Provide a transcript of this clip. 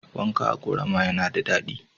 Wanka a ƙorama yana da daɗi.